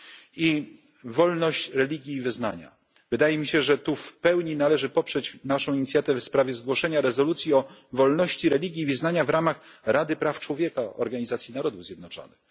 I wreszcie wolność religii i wyznania. Wydaje mi się, że tu w pełni należy poprzeć naszą inicjatywę dotyczącą zgłoszenia rezolucji o wolności religii i wyznania w ramach Rady Praw Człowieka Organizacji Narodów Zjednoczonych.